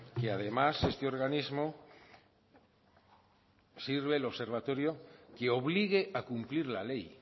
que además este organismo sirve el observatorio que obligue a cumplir la ley